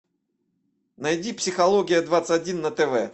найди психология двадцать один на тв